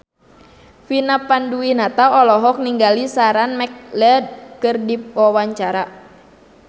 Vina Panduwinata olohok ningali Sarah McLeod keur diwawancara